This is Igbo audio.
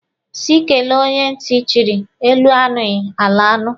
Sị kele onye ntị chịrị, elu anụghị, ala anụ.